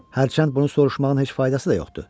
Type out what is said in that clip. Hərçənd bunu soruşmağın heç faydası da yoxdur.